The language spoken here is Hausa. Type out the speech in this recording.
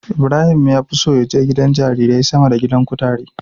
Ibrahim ya fi so ya je gidan jarirai sama da gidan kutare.